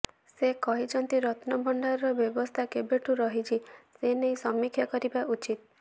ସେ କହିଛନ୍ତି ରତ୍ନଭଣ୍ଡାରର ବ୍ୟବସ୍ଥା କେବେଠୁ ରହିଛି ସେନେଇ ସମୀକ୍ଷା କରାଯିବା ଉଚିତ୍